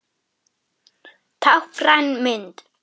Táknræn mynd.